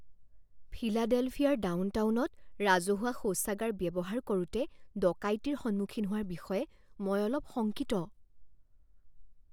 ফিলাডেলফিয়াৰ ডাউনটাউনত ৰাজহুৱা শৌচাগাৰ ব্যৱহাৰ কৰোঁতে ডকাইতিৰ সন্মুখীন হোৱাৰ বিষয়ে মই অলপ শংকিত।